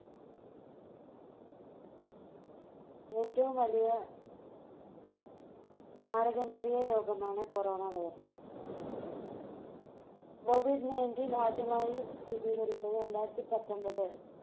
ഏറ്റവും വലിയ മാരകമേറിയ രോഗമാണ് Corona virus. Covid നയൻറ്റീൻ ആദ്യമായി സ്ഥിരീകരിച്ചത് രണ്ടായിരത്തി പത്തൊൻപത്